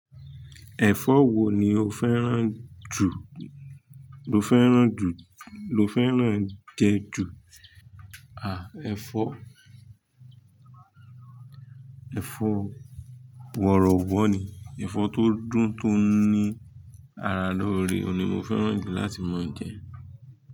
Ẹ̀fọ́ wo ni o fẹ́ràn jù? Lo fẹ́ràn jù, lo fẹ́ràn jẹ ju? Àà, ẹ̀fọ́, ẹ̀fọ́ wọ̀rọ̀wọ̀ ni, ẹ̀fọ́ tó dùn, tó ní ara lóore ni mo fẹ́ràn jù láti máa jẹ.